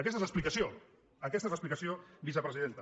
aquesta és l’explicació aquesta és l’explicació vicepresidenta